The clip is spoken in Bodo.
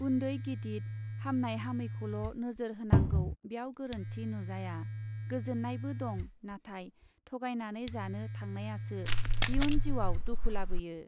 उन्दै गिदित , हामनाय हामैखौल' नोजोर होनांगौ बेव गोरोन्थि नुजाया , गोजोन्नायबो दं , नाथाय थगायनानै जानो थांनायासो इयुन जिउआव दुखु लाबोयो ।